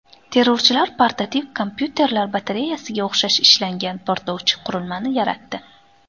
Terrorchilar portativ kompyuterlar batareyasiga o‘xshash ishlangan portlovchi qurilmani yaratdi.